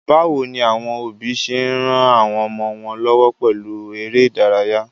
Báwoni àwon òbí se n ran àwon ọmọ wón lọ́wọ́ pèlu eré ìdárayá?